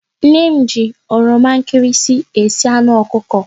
Nne m jiri oroma nkịrịsị esi anụ ọkụkọ.